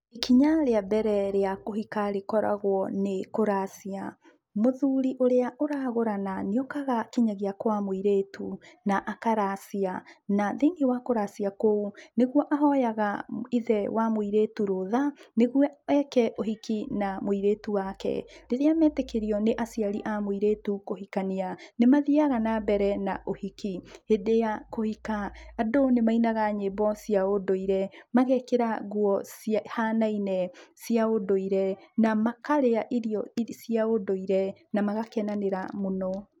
Ikinya rĩa mbere rĩa kũhika rĩkoragwo nĩ kũracia. Mũthuri ũrĩa ũragũrana nĩ okaga kinyagia kwa mũirĩtu na akaracia na thĩiniĩ wa kũracia kũu, nĩguo ahoyaga ithe wa mũirĩtu rũtha nĩguo eke ũhiki na mũirĩtu wake. Rĩrĩa metĩkĩrio nĩ aciari a mũirĩtu kũhikania nĩ mathiaga nambere na ũhiki. Hĩndĩ ya kũhika, andũ nĩ mainaga nyĩmbo cia ũndũire, magekĩra nguo cihanaine cia ũndũire na makarĩa irio cia ũndũire na magakenanĩra mũno.